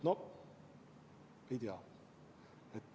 No ei tea ...